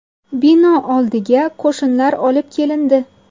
Bino oldiga qo‘shinlar olib kelindi.